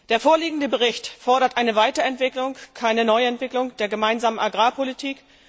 Der vorliegende Bericht fordert eine Weiterentwicklung keine Neuentwicklung der Gemeinsamen Agrarpolitik